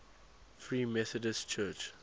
free methodist church